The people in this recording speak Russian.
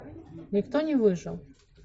никто не выжил